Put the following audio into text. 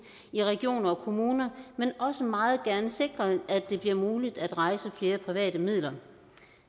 i regioner og kommuner men også meget gerne sikre at det bliver muligt at rejse flere private midler